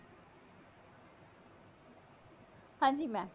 ਹਾਂਜੀ mam